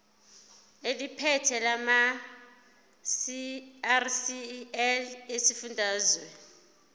eliphethe lamarcl esifundazwe